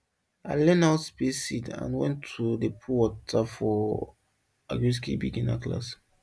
i learn how space seed and when to dey put water for agriskill beginner class